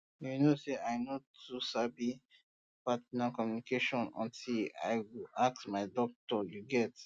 you know say um i no too sabi um partner communication until i go ask my doctor you get